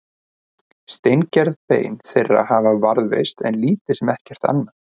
steingerð bein þeirra hafa varðveist en lítið sem ekkert annað